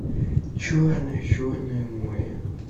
черное черное море